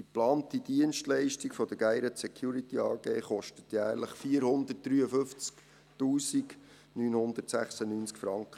Die geplante Dienstleistung der GSD kostet jährlich 453 996 Franken.